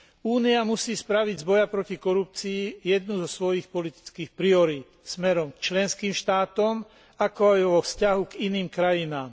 Únia musí spraviť z boja proti korupcii jednu zo svojich politických priorít smerom k členským štátom, ako aj vo vzťahu k iným krajinám.